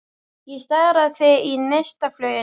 Ég stari á þig í neistafluginu.